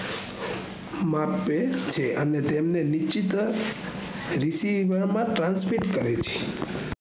માપે છે અને તેમને નીચીત્વ રીશીવામાં transpit કરે છે